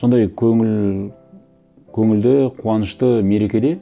сондай көңілді қуанышты мерекеде